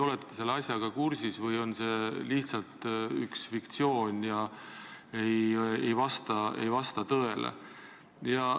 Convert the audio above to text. Olete te selle asjaga kursis või on see lihtsalt fiktsioon, mis ei vasta tõele?